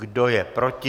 Kdo je proti?